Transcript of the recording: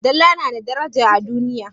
Dala na da daraja a duniya.